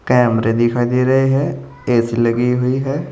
कैमरे दिखाई दे रहे हैं ए_सी लगी हुई है।